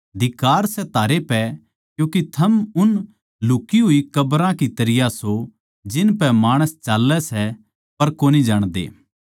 धिक्कार सै थारै पै क्यूँके थम उन लुक्ही होई कब्रां की तरियां सो जिनपै माणस चाल्लै सै पर कोनी जाणदे